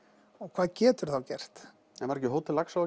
hvað geturðu þá gert en var ekki Hótel Laxá